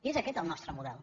i és aquest el nostre model